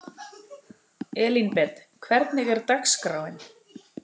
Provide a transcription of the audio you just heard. Elínbet, hvernig er dagskráin?